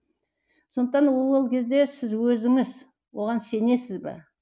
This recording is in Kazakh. сондықтан ол кезде сіз өзіңіз оған сенесіз бе